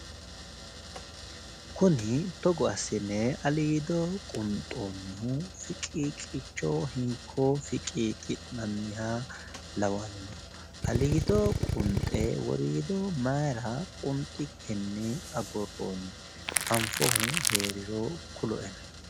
Kuni togo assine aliido qunxoonnihu fiqiiqicho hinko fiqiiqi'nanniha lawanno. Allido qunxe woriido mayira qunxikkinni agurroonni? Anfohu heeriro kuloena.